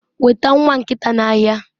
weta nwa nkita n'ahịa